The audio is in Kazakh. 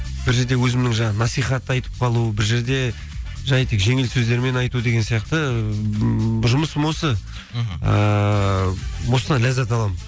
бір жерде өзімнің жаңа насихат айтып қалу бір жерде жай тек жеңіл сөздермен айту деген сияқты ммм бір жұмысым осы мхм ыыы осыдан ләззат аламын